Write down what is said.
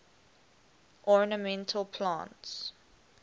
ornamental plants